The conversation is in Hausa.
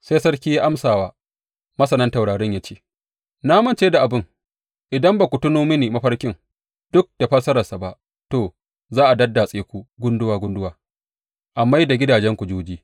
Sai sarki ya amsa wa masanan taurarin ya ce, Na mance da abin, idan ba ku tuno mini mafarkin, duk da fassararsa ba, to, za a daddatse ku gunduwa gunduwa, a mai da gidajenku juji.